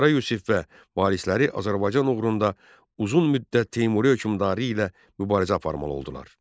Qara Yusif və varisləri Azərbaycan uğrunda uzun müddət Teymuri hökmdarı ilə mübarizə aparmalı oldular.